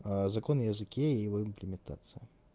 закон о языке его имплементация